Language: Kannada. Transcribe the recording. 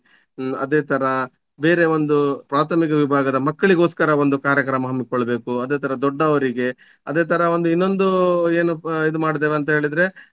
ಅದೇ ತರ ಬೇರೆ ಒಂದು ಪ್ರಾಥಮಿಕ ವಿಭಾಗದ ಮಕ್ಕಳಿಗೋಸ್ಕರ ಒಂದು ಕಾರ್ಯಕ್ರಮ ಹಮ್ಮಿಕೊಳ್ಬೇಕು ಅದೇ ತರ ದೊಡ್ಡವರಿಗೆ. ಅದೇ ತರ ಒಂದು ಇನ್ನೊಂದು ಏನು ಇದು ಮಾಡಿದ್ದೇವೆ ಅಂತ ಹೇಳಿದ್ರೆ